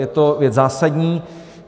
Je to věc zásadní.